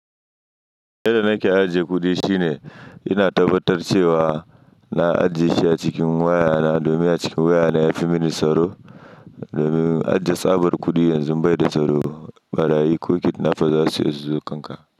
Yadda nake ajiye kuɗi shine ina tabbatar da cewa na ajiye shi a cikin wayana domin a cikin wayana yafi mini tsaro. Domin ajiye tsabar kuɗi yanzu bai da tsaro. Ɓarayi ko kidnafa za su iya suzo kanka.